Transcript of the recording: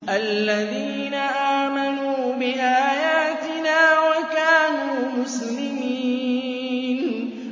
الَّذِينَ آمَنُوا بِآيَاتِنَا وَكَانُوا مُسْلِمِينَ